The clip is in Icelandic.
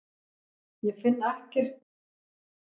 Ég finn ekki svar á Vísindavefnum um muninn á þessu tvennu.